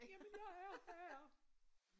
Jamen jeg er her